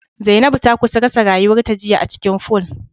Zainabu ta kusa rasa rayuwarta jiya acikin pool